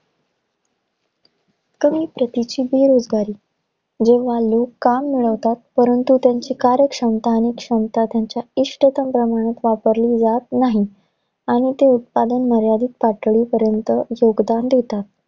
कमी प्रतीची बेरोजगारी. जेव्हा लोक काम मिळवतात, परंतु, त्यांची कार्यक्षमता आणि क्षमता, त्यांच्या इष्टतम प्रमाणात वापरली जात नाही. आणि ते उत्पादन मर्यादित पातळीपर्यंत योगदान देतात.